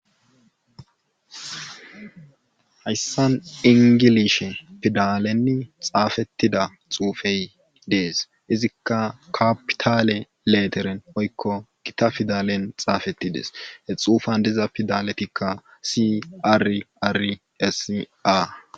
hayssan ingilishe pidalenni xaafettida xuufey dees izikka kapitale leteren hoykko gita fidalen xaafettidees he xuufan diza pidaletikka si ar ari ssia